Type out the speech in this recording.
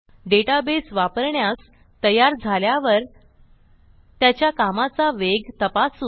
database वापरण्यास तयार झाल्यावर त्याच्या कामाचा वेग तपासू